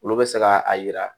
Olu bɛ se ka a yira